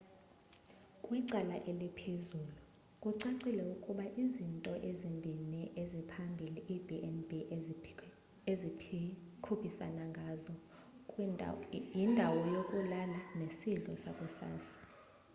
kwicala eliphezulu kucacile ukuba izinto ezimbini eziphambili iib&b ezikhuphisana ngazo: yindawo yokulala nesidlo sakusasa